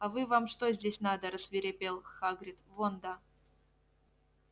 а вы вам что здесь надо рассвирепел хагрид вон да